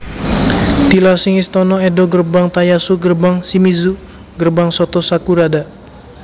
Tilasing Istana Edo Gerbang Tayasu Gerbang Shimizu Gerbang Soto sakurada